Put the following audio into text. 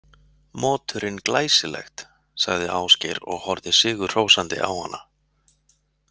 Moturinn Glæsilegt, sagði Ásgeir og horfði sigrihrósandi á hana.